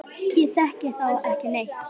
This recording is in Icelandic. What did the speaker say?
Ég þekki þá ekki neitt.